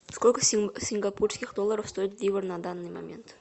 сколько сингапурских долларов стоит ливр на данный момент